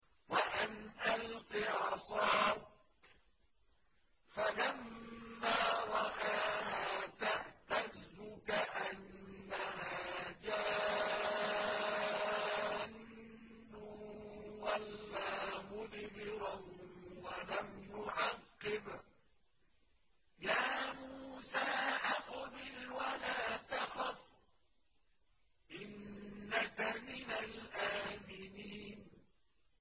وَأَنْ أَلْقِ عَصَاكَ ۖ فَلَمَّا رَآهَا تَهْتَزُّ كَأَنَّهَا جَانٌّ وَلَّىٰ مُدْبِرًا وَلَمْ يُعَقِّبْ ۚ يَا مُوسَىٰ أَقْبِلْ وَلَا تَخَفْ ۖ إِنَّكَ مِنَ الْآمِنِينَ